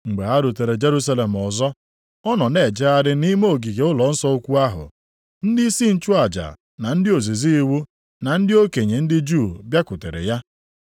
Mgbe ha rutere Jerusalem ọzọ, ọ nọ na-ejegharị nʼime ogige ụlọnsọ ukwu ahụ, ndịisi nchụaja, na ndị ozizi iwu na ndị okenye ndị Juu bịakwutere ya.